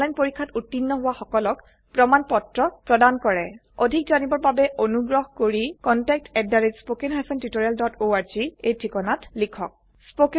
এটা অনলাইন পৰীক্ষাত উত্তীৰ্ণ হোৱা সকলক প্ৰমাণ পত্ৰ প্ৰদান কৰে অধিক জানিবৰ বাবে অনুগ্ৰহ কৰি contactspoken tutorialorg এই ঠিকনাত লিখক